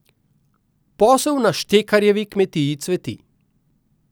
Posel na Štekarjevi kmetiji cveti.